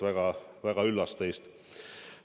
Väga-väga üllas teist!